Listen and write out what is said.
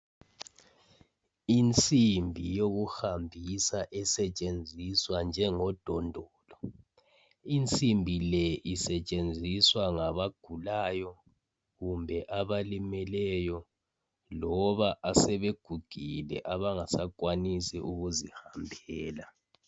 insimbi yokuhambisa esetshenziswa njengodondolo insimbile isebenziswa ngaba gulayo kumbe abalimeleyo loba abasebegugile abangasa kwanisi ukuzihambela